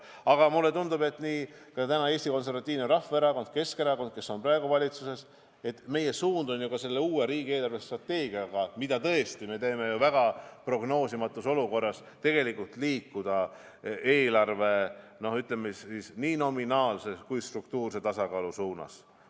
Aga mulle tundub, et ka valitsuses olevate Eesti Konservatiivse Rahvaerakonna ja Keskerakonna suund on liikuda riigi eelarvestrateegiaga, mida me ju teeme vägagi prognoosimatus olukorras, eelarve nominaalse ja struktuurse tasakaalu suunas.